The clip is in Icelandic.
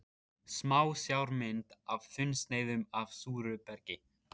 Smásjármynd af þunnsneiðum af súru bergi.